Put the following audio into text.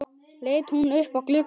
Hún leit upp á klukk